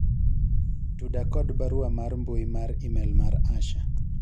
tuda kod barua mar mbui mar email mar Asha